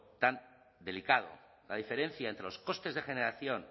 tan delicado la diferencia entre los costes de generación